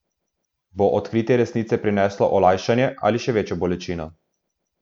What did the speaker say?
Bo odkritje resnice prineslo olajšanje ali še večjo bolečino?